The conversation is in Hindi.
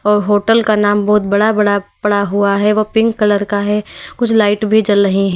व होटल का नाम बहोत बड़ा बड़ा पड़ा हुआ है वह पिंक कलर का है कुछ लाइट भी जल रही--